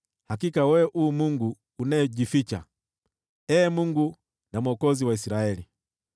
Hakika wewe u Mungu unayejificha, Ee Mungu na Mwokozi wa Israeli.